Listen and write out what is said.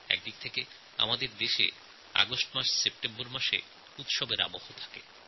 একদিক দিয়ে আমাদের দেশে অগাস্টসেপ্টেম্বর উৎসবের মাস বলে পালিত হয়